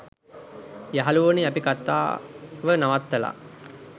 යහළුවනේ අපි කතාව නවත්තලා